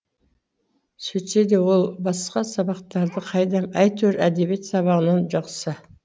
сөйтсе де ол басқа сабақтарды қайдам әйтеуір әдебиет сабағынан жақсы